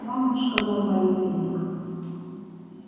мамушка мой молитвенник